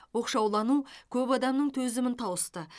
оқшаулану көп адамның төзімін тауысты